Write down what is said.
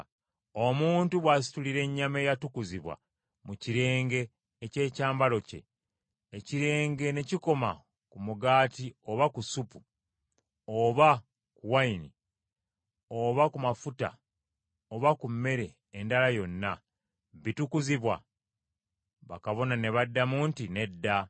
Omuntu bw’asitulira ennyama eyatukuzibwa mu kirenge eky’ekyambalo kye, ekirenge ne kikoma ku mugaati oba ku supu, oba ku wayini, oba ku mafuta oba ku mmere endala yonna, bitukuzibwa?’ ” Bakabona ne baddamu nti, “Nedda.”